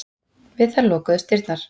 Við það lokuðust dyrnar.